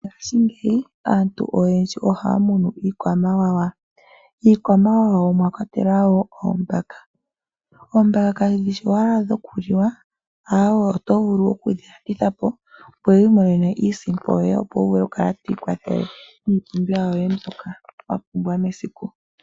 Ngaashingeyi aantu oyendji ohaya munu iikwamawawa . Miikwamawawa omwakwatelwa wo oombaka . Oombaka kadhi shi owala dhokuliwa ashike oto vulu okudhi landitha po, opo wiimonene iisimpo yoye opo vulu okukala twiikwathele miipumbiwa wapumbwa mesiku.